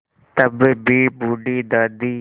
तब भी बूढ़ी दादी